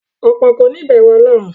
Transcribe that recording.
Ọ̀pọ̀ kòní ìbẹ̀rù ọlọ́run.